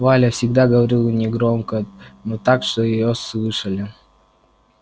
валя всегда говорила негромко но так что её слышали